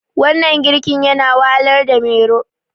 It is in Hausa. wannan girki yana wahalarda Mero